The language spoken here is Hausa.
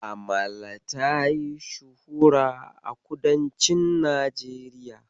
Amala tayi shuhura a kudancin Najeriya.